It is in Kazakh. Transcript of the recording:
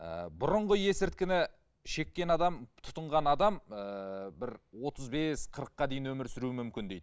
ы бұрынғы есірткіні шеккен адам тұтынған адам і бір отыз бес қырыққа дейін өмір сүруі мүмкін дейді